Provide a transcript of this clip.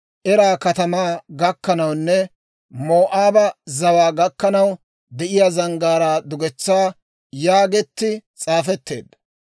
Eera katamaa gakkanawunne Moo'aaba zawaa gakkanaw de'iyaa zanggaaraa dugetsaa» yaagetti s'aafetteedda.